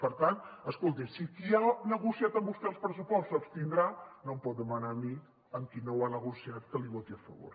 per tant escolti si qui ha negociat amb vostè el pressuposto s’abstindrà no em pot demanar a mi amb qui no ho ha negociat que l’hi voti a favor